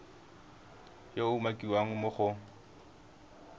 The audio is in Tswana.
yo a umakiwang mo go